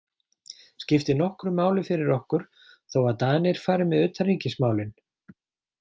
Skiptir nokkru máli fyrir okkur þó að Danir fari með utanríkismálin?